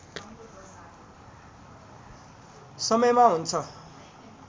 समयमा हुन्छ